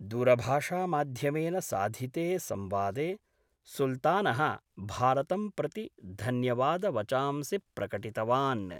दूरभाषामाध्यमेन साधिते संवादे सुल्तान: भारतं प्रति धन्यवादवचांसि प्रकटितवान्।